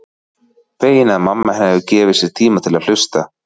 Fegin að mamma hennar hefur gefið sér tíma til að hlusta.